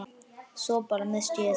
Svo bara. missti ég það.